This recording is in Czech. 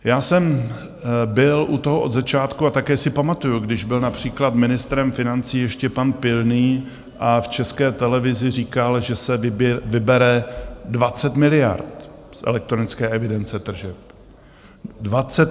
Já jsem byl u toho od začátku a také si pamatuji, když byl například ministrem financí ještě pan Pilný a v České televizi říkal, že se vybere 20 miliard z elektronické evidence tržeb.